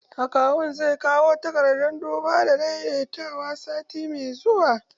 Akawun zai kawo takardar duba da daidaitawa sati mai zuwa